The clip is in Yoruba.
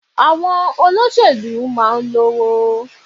Àwọn olóṣèlú máa n lówó